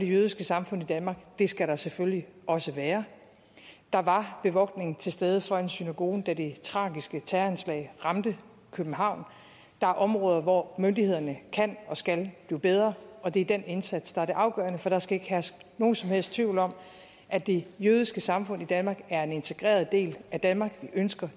det jødiske samfund i danmark det skal der selvfølgelig også være der var bevogtning til stede foran synagogen da det tragiske terroranslag ramte københavn der er områder hvor myndighederne kan og skal blive bedre og det er den indsats der er det afgørende for der skal ikke herske nogen som helst tvivl om at det jødiske samfund i danmark er en integreret del af danmark vi ønsker